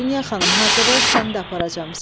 Dünya xanım, hazırlaş, səni də aparacam.